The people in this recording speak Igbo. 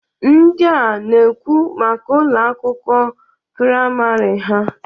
Ndịa na-ekwu maka Ụlọ akwụkwọ praịmarị ha.